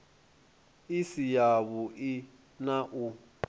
i si yavhui na u